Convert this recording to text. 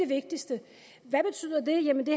vigtigste hvad betyder det jamen det